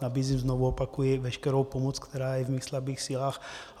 Nabízím, znovu opakuji, veškerou pomoc, která je v mých slabých silách.